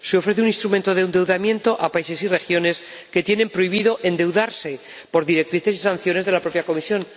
Se ofrece un instrumento de endeudamiento a países y regiones que tienen prohibido endeudarse por directrices y sanciones de la propia Comisión.